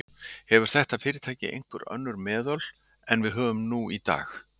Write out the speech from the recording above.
Hefur þetta fyrirtæki einhver önnur meðöl en við höfum nú í dag?